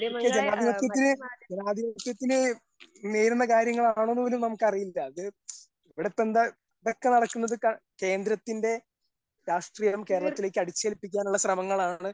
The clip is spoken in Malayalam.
പക്ഷേ ജനാധിപത്യത്തില്, ജനാധിപത്യത്തില് നേരുന്ന കാര്യങ്ങളാണോ എന്നുപോലും നമുക്കറിയില്ല. അതെ ഇവിടെ ഇപ്പോ ഇതൊക്കെ നടക്കുന്നത് കേന്ദ്രത്തിന്റെ രാഷ്ട്രീയം കേരളത്തിലേയ്ക്ക് അടിച്ചേൽപ്പിക്കാനുള്ള ശ്രമങ്ങളാണ്